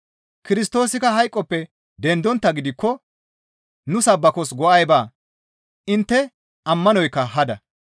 Kirstoosikka hayqoppe dendonttaa gidikko nu sabbakos go7ay baa; intte ammanoykka hada.